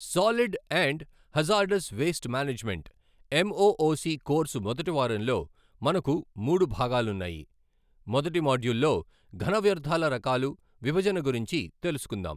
Solid and hazardous waste management MOOC course మొదటివారంలో మనకు మూడు భాగాలున్నాయి. మొదటి మాడ్యూల్లో ఘన వ్యర్థాల రకాలు విభజన గురించి తెలుసుకుందాం.